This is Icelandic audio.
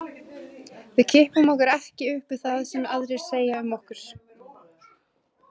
Við kippum okkur ekki upp við það sem aðrir segja um okkur.